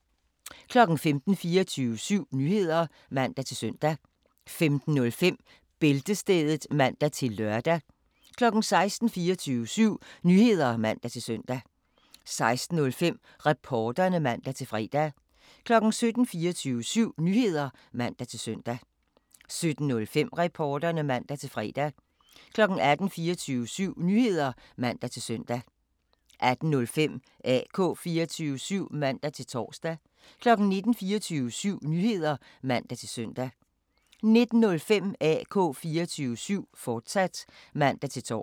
15:00: 24syv Nyheder (man-søn) 15:05: Bæltestedet (man-lør) 16:00: 24syv Nyheder (man-søn) 16:05: Reporterne (man-fre) 17:00: 24syv Nyheder (man-søn) 17:05: Reporterne (man-fre) 18:00: 24syv Nyheder (man-søn) 18:05: AK 24syv (man-tor) 19:00: 24syv Nyheder (man-søn) 19:05: AK 24syv, fortsat (man-tor)